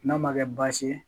N'a ma kɛ baasi ye